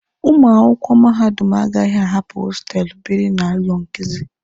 Ụmụ akwụkwọ mahadum agaghị ahapụ hostelụ biri na ụlọ nkuzi.